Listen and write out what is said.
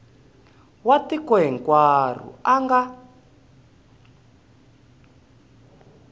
wa tiko hinkwaro a nga